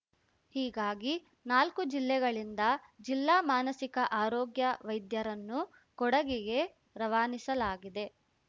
ಹೀಗಾಗಿ ನಾಲ್ಕು ಜಿಲ್ಲೆಗಳಿಂದ ಜಿಲ್ಲಾ ಮಾನಸಿಕ ಆರೋಗ್ಯ ವೈದ್ಯರನ್ನು ಕೊಡಗಿಗೆ ರವಾನಿಸಲಾಗಿದೆ